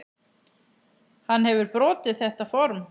Hann hefur brotið þetta form.